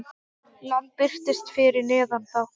Land birtist fyrir neðan þá.